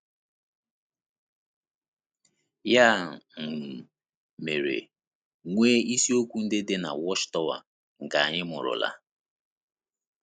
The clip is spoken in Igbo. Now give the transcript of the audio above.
Ya um mere, nwee isiokwu ndị dị na The Watchtower nke anyị mụụrụla.